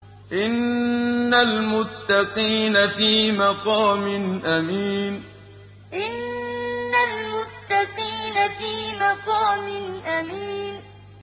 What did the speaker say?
إِنَّ الْمُتَّقِينَ فِي مَقَامٍ أَمِينٍ إِنَّ الْمُتَّقِينَ فِي مَقَامٍ أَمِينٍ